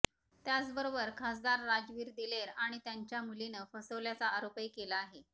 त्याचबरोबर खासदार राजवीर दिलेर आणि त्यांच्या मुलीनं फसवल्याचा आरोपही केला आहे